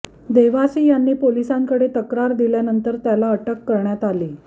देवासी यांनी पोलिसांकडे तक्रार दिल्यानंतर त्याला अटक करण्यात आली